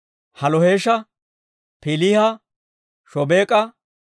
Halloheesha, Piiliha, Shobeek'a,